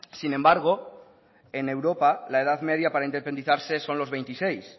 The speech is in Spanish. sin embargo en europa la edad media para independizarse son los veintiséis